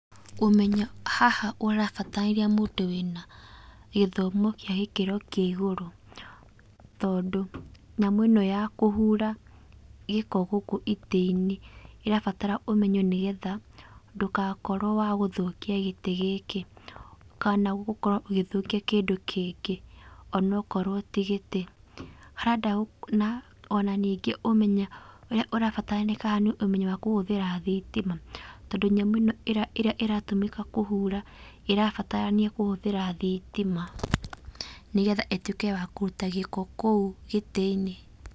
Ũmenyo, haha ũrabatarania mũndũ wĩna gĩthomo kĩa gĩkĩro kĩa igũrũ, tondũ nyamũ ĩno ya kũhura gĩko gũkũ itĩinĩ, irabatara ũmenyo nĩgetha ndũgakorwo wa gũthũkia gĩtĩ gĩkĩ, kana gũthũkia kĩndũ kĩngĩ onakorwo tĩ gĩtĩ. Ona ningĩ ũmenyo ũrĩa ũrabatarania haha nĩ ũmenyo wa kũhũthĩra thĩtima, tondũ nyamũ ĩno ĩrĩa ĩratũmĩka kũhura ĩrabatarania kũhũthĩra thitima, nĩgetha ĩtuĩke ya kũruta gĩko kũu gĩtĩ-inĩ.